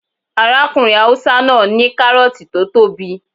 Arákùnrin haúsá náà ní kárọ̀ọ̀tì tó tóbi